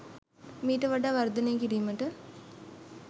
මීට වඩා වර්දනය කිරීමට